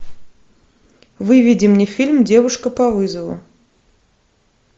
выведи мне фильм девушка по вызову